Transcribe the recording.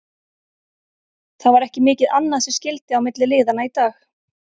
Það var ekki mikið annað sem skyldi á milli liðanna í dag.